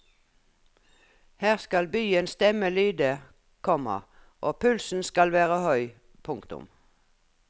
Her skal byens stemme lyde, komma og pulsen skal være høy. punktum